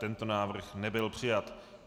Tento návrh nebyl přijat.